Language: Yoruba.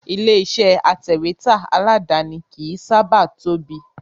Ilé iṣẹ́ atẹ̀wẹ́tà aládàáni kìí sábà tóbi